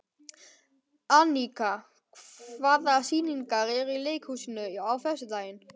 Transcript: Anika, hvaða sýningar eru í leikhúsinu á föstudaginn?